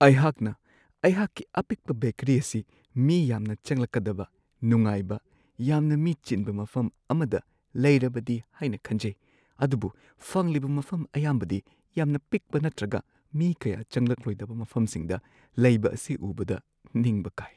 ꯑꯩꯍꯥꯛꯅ ꯑꯩꯍꯥꯛꯀꯤ ꯑꯄꯤꯛꯄ ꯕꯦꯀꯔꯤ ꯑꯁꯤ ꯃꯤ ꯌꯥꯝꯅ ꯆꯪꯂꯛꯀꯗꯕ ꯅꯨꯡꯉꯥꯏꯕ, ꯌꯥꯝꯅ ꯃꯤ ꯆꯤꯟꯕ ꯃꯐꯝ ꯑꯃꯗ ꯂꯩꯔꯕꯗꯤ ꯍꯥꯏꯅ ꯈꯟꯖꯩ, ꯑꯗꯨꯕꯨ ꯐꯪꯂꯤꯕ ꯃꯐꯝ ꯑꯌꯥꯝꯕꯗꯤ ꯌꯥꯝꯅ ꯄꯤꯛꯄ ꯅꯠꯇ꯭ꯔꯒ ꯃꯤ ꯀꯌꯥ ꯆꯪꯂꯛꯂꯣꯢꯗꯕ ꯃꯐꯝꯁꯤꯡꯗ ꯂꯩꯕ ꯑꯁꯤ ꯎꯕꯗ ꯅꯤꯡꯕ ꯀꯥꯏ ꯫